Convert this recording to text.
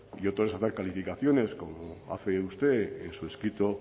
y otra es hacer calificaciones como hace usted en su escrito